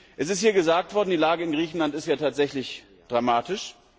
Es ist hier gesagt worden, die Lage in Griechenland sei ja tatsächlich dramatisch.